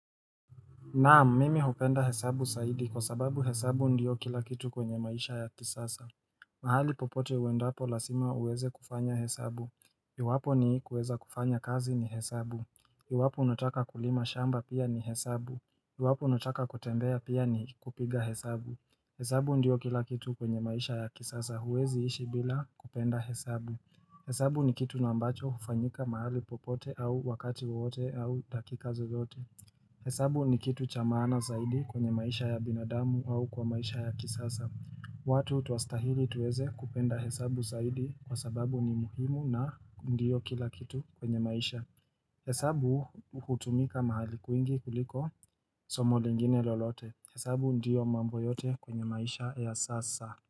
Naam, mimi hupenda hesabu zaidi kwa sababu hesabu ndiyo kila kitu kwenye maisha ya kisasa. Mahali popote uendapo lazima uweze kufanya hesabu. Iwapo ni kuweza kufanya kazi ni hesabu. Iwapo unataka kulima shamba pia ni hesabu. Iwapo unutaka kutembea pia ni kupiga hesabu. Hesabu ndiyo kila kitu kwenye maisha ya kisasa. Uwezi ishi bila kupenda hesabu. Hesabu ni kitu ambacho hufanyika mahali popote au wakati wote au dakika zozote. Hesabu ni kitu cha maana zaidi kwenye maisha ya binadamu au kwa maisha ya kisasa Watu tuastahili tuweze kupenda hesabu zaidi kwa sababu ni muhimu na ndiyo kila kitu kwenye maisha Hesabu kutumika mahali kwingi kuliko somo lingine lolote Hesabu ndiyo mambo yote kwenye maisha ya sasa.